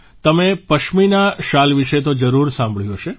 તમે પશ્મિના શાલ વિશે તો જરૂર સાંભળ્યું હશે